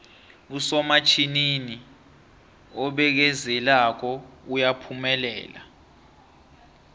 usomatjhinini obekezelako uyaphumelela